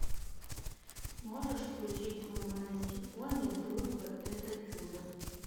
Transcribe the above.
можешь включить мой маленький пони дружба это чудо